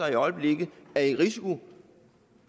i øjeblikket er i risiko